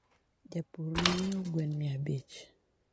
Japur nonyiew gwen mia abich